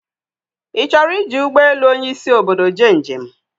I choro iji Ugbe elu Onyi isi obodo je njem